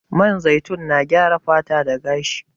Man zaitun na gyara fata da gashi.